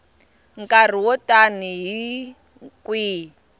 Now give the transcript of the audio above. nkarhi wo tani hi kwihi